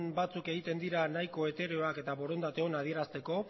batzuk egiten dira nahiko etereoak eta borondate ona adierazteko